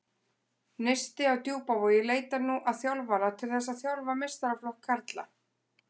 Neisti á Djúpavogi leitar nú að þjálfara til þess að þjálfa meistaraflokk karla.